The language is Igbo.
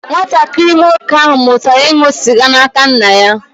Nwatakịrị nwoke ahụ mụtara ịṅụ sịga n'aka nna ya.